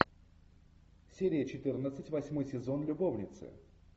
серия четырнадцать восьмой сезон любовницы